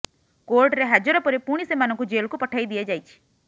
କୋର୍ଟରେ ହାଜର ପରେ ପୁଣି ସେମାନଙ୍କୁ ଜେଲ୍କୁ ପଠାଇ ଦିଆଯାଇଛି